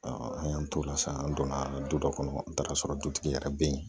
an y'an t'o la sisan an donna du dɔ kɔnɔ an taara sɔrɔ dutigi yɛrɛ bɛ yen